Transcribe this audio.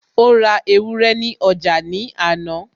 ó ra ewúrẹ́ ní ọjà ní àná